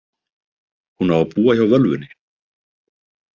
Hún á að búa hjá völvunni.